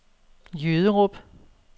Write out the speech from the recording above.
Jyderup